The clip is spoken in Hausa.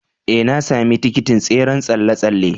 Ee, na sami tikitin tseren tsalle-tsalle.